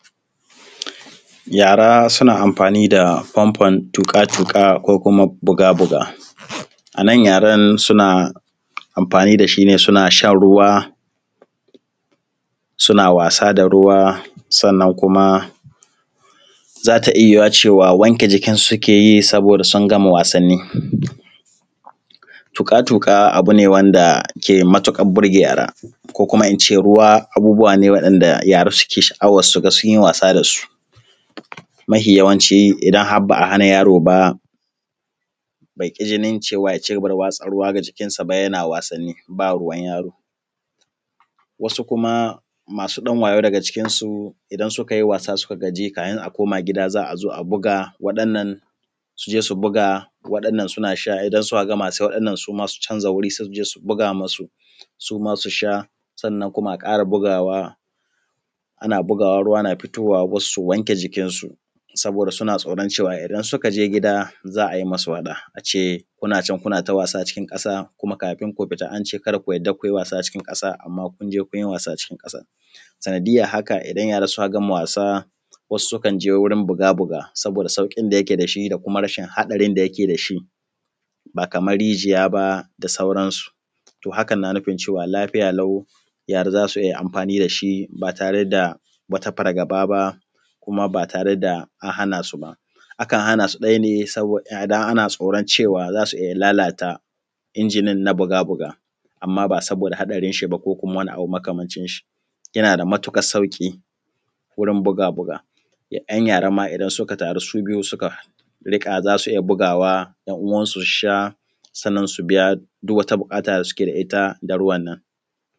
Yara suna amfani da fanfon tuƙa-tuƙa ko kuma buga-buga, a nan yaran suna anfani da shi ne suna shan ruwa, suna wasa da ruwa sannan kuma za ta iya cewa wanke jikinsu suke yi in sun gama wasanni. Tuƙa-tuƙa abu ne wanda ke matuƙar burge yara ko kuma in ce ruwa abu ne wanda yara suke sha’awar su ga sun yi wasa da su mafiyawanci in har ba a hana yaro ba baƙi jinin ya dinga wasa da ruwa. Jikinsa yana wasanni ba ruwan yaro, wasu kuma masu ɗan wayau daga cikinsu idan suka yi wasa suka gaji in za a koma gida za a zo a buga wannan su je su buga wannan suna sha. Idan suka gama wannan ma su je su buga wa suma su sha, sannan kuma a ƙara bugawa, ana bugawa ruwa na fitowa, su wanke jikinsu saboda suna tsaoran cewa idan suka je gida za ai musu faɗa ne kuna can kuna ta wasan ƙasa kuma kafin ku fita an ce ka da ku sake ku yi wasa cikin ƙasa. Amma kun je, kun yi wasa cikin ƙasa sanadiyyan haka idan yara suna gama wasa, wasu sukan je wajen buga-buga saboda sauƙin da yake da shi da kuma rashin haɗarin da yake da shi, ba kaman rijiya ba da sauransu. To, hakan na nufin cewa lafiya lau, yara za su iya amfani da shi ba tare da wani fargaba ba ko kuma ba tare da an hana su ba, akan hana su ɗaya ne saboda ana tsoran cewa za su iya lalata injinnan na buga-buga. Amma ba saboda haɗarinsa ba kowane abu makamancin shi yana da matuƙar sauƙi wurin buga-buga ‘yan yara ma idan suka taru su biyu za su iya bugawa ‘yan’uwansu su sha, sannan su biya duk wata buƙata da ita ruwan nan.